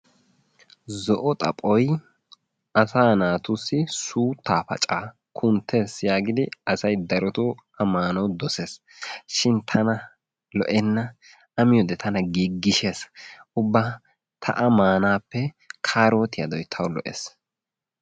Zo"o xaphoy asaa naatussi suuttaa paccaa kuntees yaagidi asay darottto a maanawu dosees. shin tana lo'enna a miyode tana giigishees, ubba ta a maanaappe kaarottiyadoy tawu lo'ees.